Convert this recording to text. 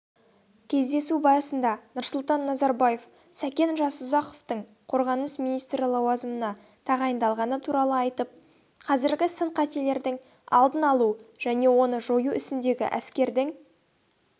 кездесу барысында нұрсұлтан назарбаев сәкен жасұзақовтың қорғаныс министрі лауазымына тағайындалғаны туралы айтып қазіргі сын-қатерлердің алдын алу және оны жою ісіндегі әскердің